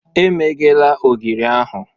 Emeghela ogiri ahụ!